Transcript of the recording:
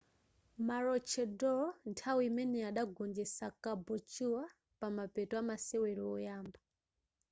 maroochydore nthawi imeneyo adagonjetsa caboolture pamapeto amasewero oyamba